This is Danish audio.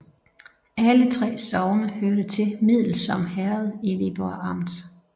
Alle 3 sogne hørte til Middelsom Herred i Viborg Amt